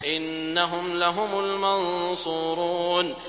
إِنَّهُمْ لَهُمُ الْمَنصُورُونَ